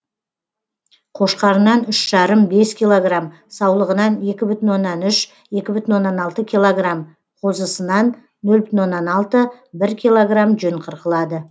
қошқарынан үш жарым бес килограмм саулығынан екі бүтін оннан үш екі бүтін оннан алты килограмм қозысынан нөл бүтін оннан алты бір килограмм жүн қырқылады